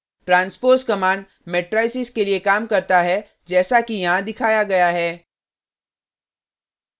transpose command matrices के लिए काम करता है जैसा कि यहाँ दिखाया गया है :